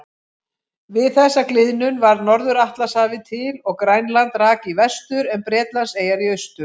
Við þessa gliðnun varð Norður-Atlantshafið til og Grænland rak í vestur en Bretlandseyjar í austur.